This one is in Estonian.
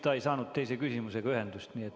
Ta ei saanud teise küsimuse korral ühendust.